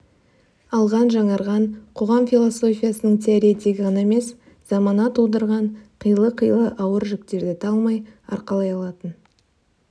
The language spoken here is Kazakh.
алған жаңарған қоғам философиясының теоретигі ғана емес замана тудырған қилы-қилы ауыр жүктерді талмай арқалай алатын